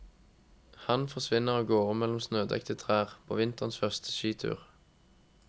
Han forsvinner av gårde mellom snødekte trær, på vinterens første skitur.